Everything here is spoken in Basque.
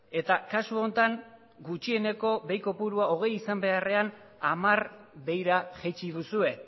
eta kasu honetan gutxieneko behi kopurua hogei izan beharrean hamar behira jaitsi duzue